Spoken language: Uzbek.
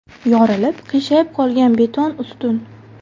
Yorilib, qiyshayib qolgan beton ustun.